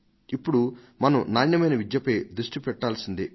ఇప్పుడు మనం నాణ్యమైన విద్యపై దృష్టి పెట్టి తీరాల్సిందే